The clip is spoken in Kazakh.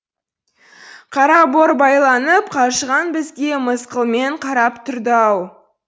қараборбайланып қажыған бізге мысқылмен қарап тұрды ау